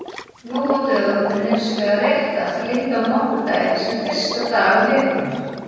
Nú á dögum er hins vegar réttast að líta á mánudaginn sem fyrsta dag vikunnar.